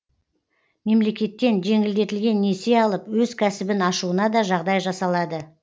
мемлекеттен жеңілдетілген несие алып өз кәсібін ашуына да жағдай жасалады